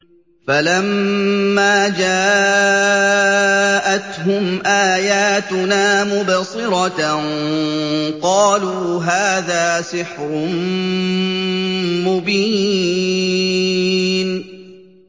فَلَمَّا جَاءَتْهُمْ آيَاتُنَا مُبْصِرَةً قَالُوا هَٰذَا سِحْرٌ مُّبِينٌ